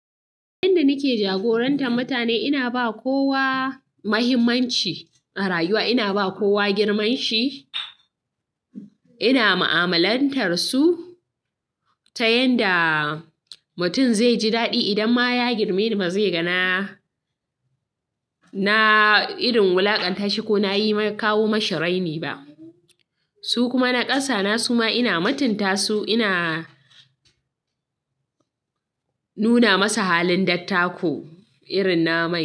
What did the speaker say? Yanda nake jagorantar mutane, ina ba kowa muhimmanci a rayuwa. Ina ba kowa girman shi, ina mu'amalantar su ta yanda mutum zai ji daɗi idan ma ya girme ni ba zai ga na, na irin na wulakantashi konayi mai kawo mashinl raini ba su kuma na ƙasa na su ma ina mutinta su, ina nuna masu halin dattako irin na ma.